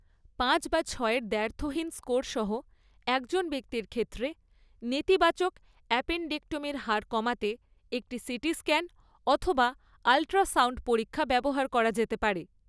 পাঁচ বা ছয় এর দ্ব্যর্থহীন স্কোর সহ একজন ব্যক্তির ক্ষেত্রে, নেতিবাচক অ্যাপেণ্ডেক্টমির হার কমাতে একটি সিটি স্ক্যান অথবা আল্ট্রাসাউণ্ড পরীক্ষা ব্যবহার করা যেতে পারে।